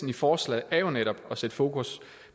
i forslaget er jo netop at sætte fokus